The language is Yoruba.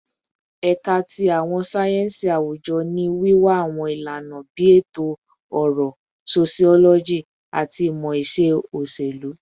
Ẹka ti Awọn sáyẹnsì Awujọ ni wiwa awọn ilana bii Eto-ọrọ, Sociology, ati Imọ-iṣe Oṣelu